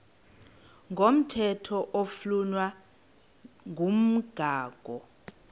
komthetho oflunwa ngumgago